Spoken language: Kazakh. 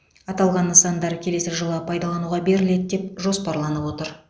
аталған нысандар келесі жылы пайдалануға беріледі деп жоспарланып отыр